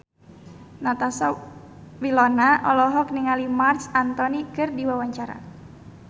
Natasha Wilona olohok ningali Marc Anthony keur diwawancara